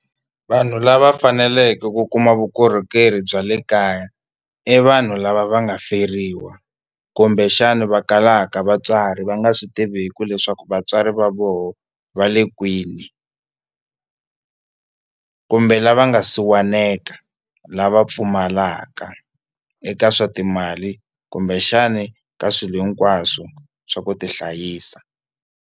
Vanhu lava faneleke ku kuma vukorhokeri bya le kaya i vanhu lava va nga feriwa kumbexana va kalaka vatswari va nga swi tiviku leswaku vatswari va vona va le kwini kumbe lava nga siwaneka lava pfumalaka eka swa timali kumbexani ka swilo hinkwaswo swa ku tihlayisa.